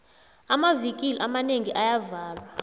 amavikili amanengi ayavalwa